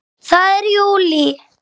Það er JÚLÍ!